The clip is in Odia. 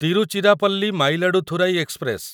ତିରୁଚିରାପଲ୍ଲୀ ମାୟିଲାଡୁଥୁରାଇ ଏକ୍ସପ୍ରେସ